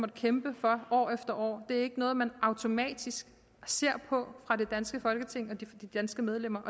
kæmpe for år efter år det er ikke noget man automatisk ser på fra det danske folketings og de danske medlemmers